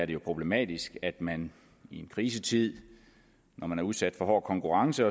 jo problematisk at man i en krisetid når man er udsat for hård konkurrence